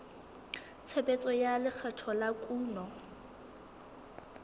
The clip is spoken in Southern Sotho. tshebetso tsa lekgetho la kuno